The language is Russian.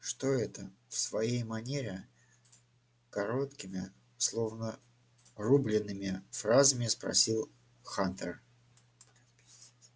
что это в своей манере короткими словно рублеными фразами спросил хантер